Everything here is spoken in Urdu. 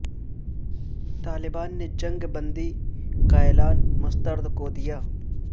طالبان نے جنگ بندی کا اعلان مسترد کر دیا